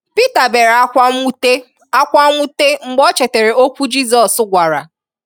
Pita bèèrè ákwá mwute ákwá mwute mgbe ọ chetère okwu Jisọs gwàrà.